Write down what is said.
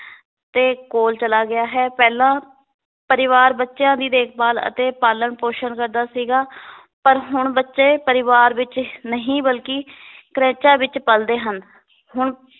ਦੇ ਕੋਲ ਚਲਾ ਗਿਆ ਹੈ ਪਹਿਲਾਂ ਪਰਿਵਾਰ ਬੱਚਿਆਂ ਦੀ ਦੇਖ-ਭਾਲ ਅਤੇ ਪਾਲਣ ਪੋਸ਼ਣ ਕਰਦਾ ਸੀਗਾ ਪਰ ਹੁਣ ਬੱਚੇ ਪਰਿਵਾਰ ਵਿੱਚ ਨਹੀ ਬਲਕੀ ਕ੍ਰੈਚਾਂ ਵਿੱਚ ਪਲਦੇ ਹਨ ਹੁਣ